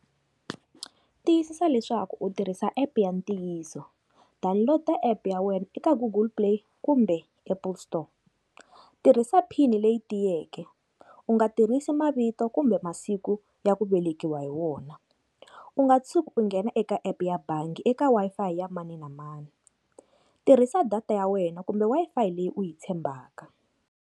Tiyisisa leswaku u tirhisa app ya ntiyiso download-er app ya wena eka google play kumbe apple store, tirhisa pin leyi tiyeke u nga tirhisi mavito kumbe masiku ya ku velekiwa hi wona, u nga tshuki u nghena eka app ya bangi eka Wi-Fi ya mani na mani, tirhisa data ya wena kumbe Wi-Fi leyi u yi tshembaka.